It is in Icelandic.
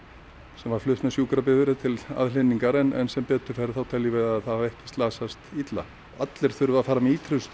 sem var flutt með sjúkrabifreið til aðhlynningar en sem betur fer þá teljum við að það hafi ekki slasast illa allir þurfa að fara með